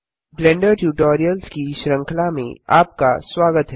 blender tutorials की श्रृंखला में आपका स्वागत है